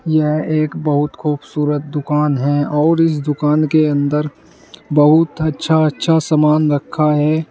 यह एक बहुत खूबसूरत दुकान है और इस दुकान के अंदर बहुत अच्छा अच्छा समान रखा है।